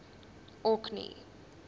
orkney